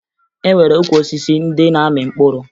E nwere ukwu osisi ndị na-amị mkpụrụ